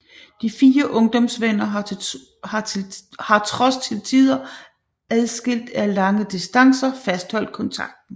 De fire ungdomsvenner har trods til tider adskilt af lange distancer fastholdt kontakten